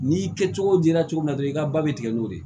N'i kɛcogo dira cogo min na dɔrɔn i ka ba bɛ tigɛ n'o ye